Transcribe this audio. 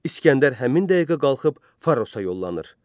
İsgəndər həmin dəqiqə qalxıb Farosa yollanır.